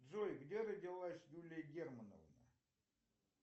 джой где родилась юлия германовна